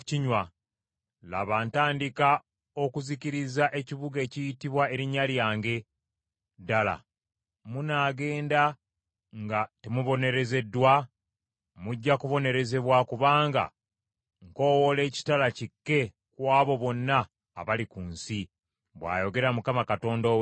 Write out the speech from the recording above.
Laba, ntandika okuzikiriza ekibuga ekiyitibwa Erinnya lyange, ddala munaagenda nga temubonerezeddwa? Mujja kubonerezebwa kubanga nkoowoola ekitala kikke ku abo bonna abali ku nsi, bw’ayogera Mukama Katonda ow’Eggye.’